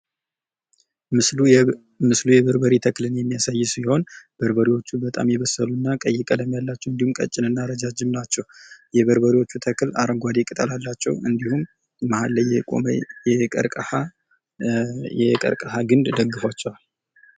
ምስሉ ምስሉ የበሮበሬ ተክልን የሚያሳይ ሲሆን በርበሬዎቹ በጣም የበሰሉ እና ቀይ ቀለም ያላቸው እንዲሁም ቀጭን እና እረጃጅም ናቸው። የበርበሬዎቹ ተክል አረንጓዴ ተክል ቅጠል አላቸው እንዲሁም መሀል ላይ የቆመ የቀርቀሀ የቀርቀሀ ግንድ ደግፏቸዋል።